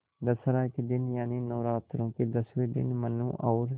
दशहरा के दिन यानि नौरात्रों के दसवें दिन मनु और